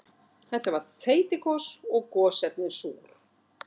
Þetta var þeytigos og gosefnin súr.